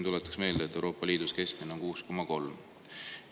Tuletaks meelde, et Euroopa Liidu keskmine on 6,3%.